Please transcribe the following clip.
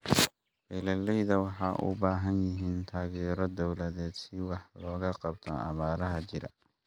Beeralayda waxay u baahan yihiin taageero dawladeed si wax looga qabto abaaraha jira.